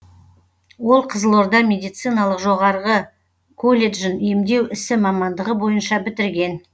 ол қызылорда медициналық жоғарғы колледжін емдеу ісі мамандығы бойынша бітірген